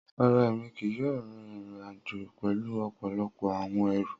Rara, Emi kii yoo rin irin-ajo pẹlu ọpọlọpọ awọn ẹru.